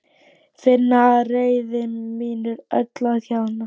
Finn að reiði mín er öll að hjaðna.